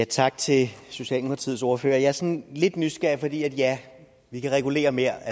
tak til socialdemokratiets ordfører jeg er sådan lidt nysgerrig for ja vi kan regulere mere